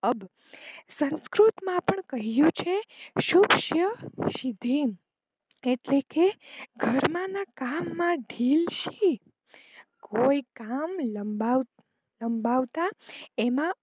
અબ, સંકૃત માં પણ કહીંયુ છે સુષુયં સિધ્ય્મ, એટલે કે ધર્મ ના કામ માં ઢીલ શી, કોઈ કામ લંબાવતા એમાં